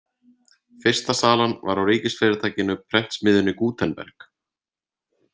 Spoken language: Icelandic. Fyrsta salan var á ríkisfyrirtækinu Prentsmiðjunni Gútenberg.